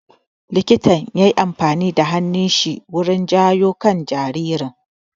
Likitan yayi amfani da hannun shi wurin jawo kan jaririn